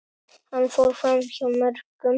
Hann fór framhjá mörgum.